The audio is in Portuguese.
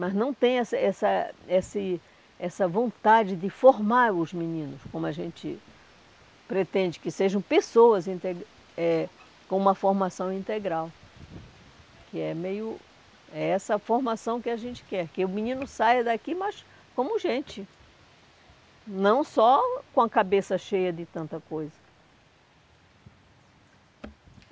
mas não tem essa essa esse essa vontade de formar os meninos como a gente pretende, que sejam pessoas inte eh com uma formação integral, que é meio... é essa a formação que a gente quer, que o menino saia daqui, mas como gente, não só com a cabeça cheia de tanta coisa.